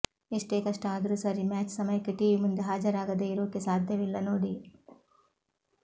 ಎಷ್ಟೇ ಕಷ್ಟ ಆದ್ರೂ ಸರಿ ಮ್ಯಾಚ್ ಸಮಯಕ್ಕೆ ಟಿವಿ ಮುಂದೆ ಹಾಜರಾಗದೇ ಇರೋಕೆ ಸಾಧ್ಯವಿಲ್ಲ ನೋಡಿ